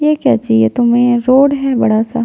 ये क्या जी ये तो मैन रोड है बड़ा सा--